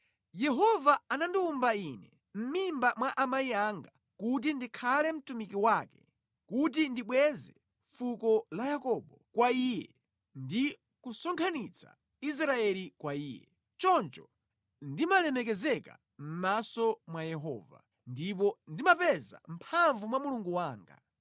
Yehova anandiwumba ine mʼmimba mwa amayi anga kuti ndikhale mtumiki wake kuti ndibweze fuko la Yakobo kwa Iye ndi kusonkhanitsa Israeli kwa Iye, choncho ndimalemekezeka mʼmaso mwa Yehova, ndipo ndimapeza mphamvu mwa Mulungu wanga.